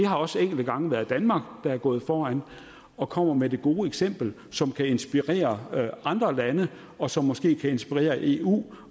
har også enkelte gange været danmark der er gået foran og kommet med det gode eksempel som kan inspirere andre lande og som måske kan inspirere eu